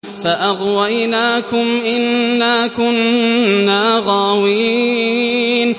فَأَغْوَيْنَاكُمْ إِنَّا كُنَّا غَاوِينَ